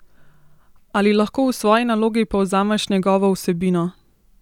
Ali lahko v svoji nalogi povzameš njegovo vsebino?